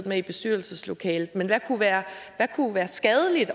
med i bestyrelseslokalet men hvad kunne være kunne være skadeligt